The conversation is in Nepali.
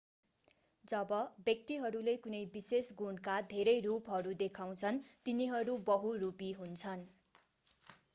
जब व्यक्तिहरूले कुनै विशेष गुणका धेरै रूपहरू देखाउँछन् तिनीहरू बहुरूपी हुन्छन्